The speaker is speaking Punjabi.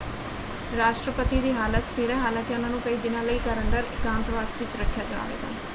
ਰਾਸ਼ਟਰਪਤੀ ਦੀ ਹਾਲਤ ਸਥਿਰ ਹੈ ਹਾਲਾਂਕਿ ਉਹਨਾਂ ਨੂੰ ਕਈ ਦਿਨਾਂ ਲਈ ਘਰ ਅੰਦਰ ਇਕਾਂਤਵਾਸ ਵਿੱਚ ਰੱਖਿਆ ਜਾਵੇਗਾ।